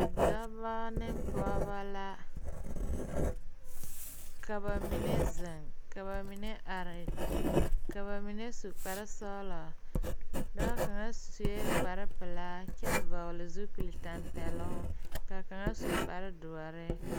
Dɔba ne pɔgeba la ka ba mine zeŋ ka ba mine are ka ba mine su kparesɔglɔ dɔɔ kaŋ sue kparepelaa kyɛ vɔgle zupilitɛmpɛloŋ ka kaŋa su kparedoɔre.